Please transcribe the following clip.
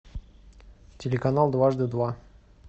телеканал дважды два